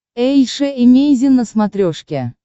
эйша эмейзин на смотрешке